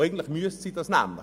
Dies müsste sie aber tun: